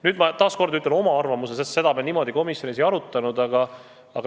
Nüüd ma ütlen taas oma arvamuse, sest seda me niimoodi komisjonis ei arutanud.